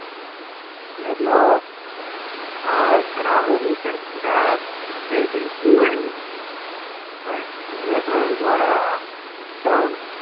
તરાહોની ચર્ચા અત્રે કરીશું. અનુકરણ દ્વારા શિક્ષણ